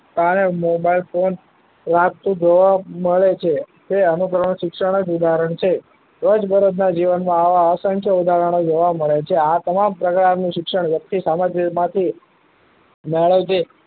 આને mobile phone વાગતું જોવા મળે છે. તે અનુકરણ શિક્ષણ જ ઉદાહરણ છે. રોજબરોજના જીવનમાં આવા અસંખ્ય ઉદાહરણો જોવા મળે છે. આ તમામ પ્રકારનું શિક્ષણ વ્યક્તિ મળે છે.